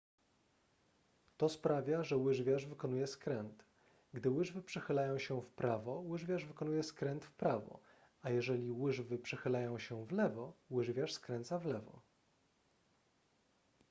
to sprawia że łyżwiarz wykonuje skręt gdy łyżwy przechylają się w prawo łyżwiarz wykonuje skręt w prawo a jeżeli łyżwy przechylają się w lewo łyżwiarz skręca w lewo